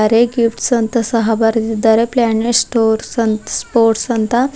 Pay ಗಿಪ್ಸ್ ಅಂತ ಸಹ ಬರೆದಿದ್ದಾರೆ ಪ್ಲಾನೆಟ್ಸ್ ಸ್ಟೋರ್ಸ್ ಅಂತ ಸ್ಪೋರ್ಟ್ಸ್ ಅಂತ.